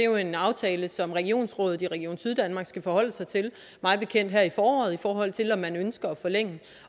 jo en aftale som regionsrådet i region syddanmark skal forholde sig til mig bekendt her i foråret i forhold til om man ønsker at forlænge